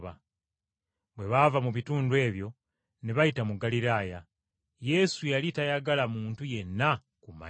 Bwe baava mu bitundu ebyo ne bayita mu Ggaliraaya. Yesu yali tayagala muntu yenna kumanya.